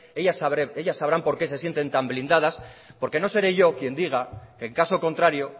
ellas sabrán por qué se sienten tan blindadas porque no seré yo quien diga que en caso contrario